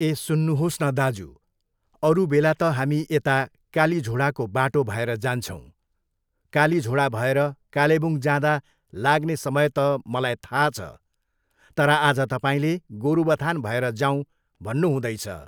ए सुन्नुहोस् न दाजु, अरू बेला त हामी यता कालिझोडाको बाटो भएर जान्छौँ, कालीझोडा भएर कालेबुङ जाँदा लाग्ने समय त मलाई थाहा छ, तर आज तपाईँले गोरुबथान भएर जाऊँ भन्नुहुँदैछ।